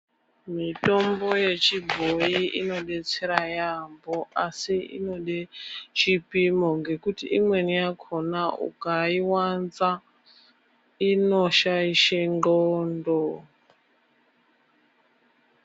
Mitombo yechibhoyi inodetsera yaamho, asi inode chipimo ngekuti imweni yakona ukaiwanza inoshaishe nxlondo.